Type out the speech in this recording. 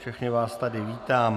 Všechny vás tady vítám.